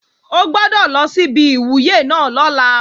O gbọ́dọ̀ lọ sí ibi ìwúyè náà lọ́la!